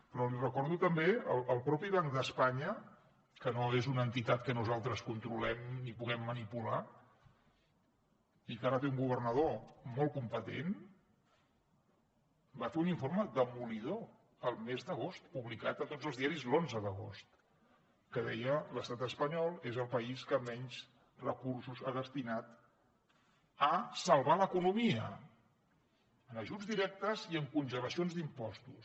però li recordo també que el mateix banc d’espanya que no és una entitat que nosaltres controlem i puguem manipular i que ara té un governador molt competent va fer un informe demolidor el mes d’agost publicat a tots els diaris l’onze d’agost que deia l’estat espanyol és el país que menys recursos ha destinat a salvar l’economia en ajuts directes i amb congelacions d’impostos